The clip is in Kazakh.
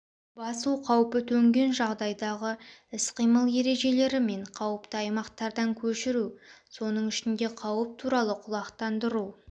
басу қаупі төнген жағдайдағы іс-қимыл ережелері мен қауіпті аймақтардан көшіру соның ішінде қауіп туралы құлақтандыру